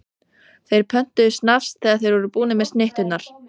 Þeir pöntuðu snafs þegar þeir voru búnir með snitturnar.